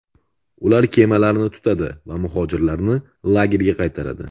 Ular kemalarni tutadi va muhojirlarni lagerga qaytaradi.